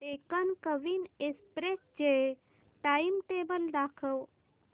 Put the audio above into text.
Deccan Queen Express चे timetable दाखव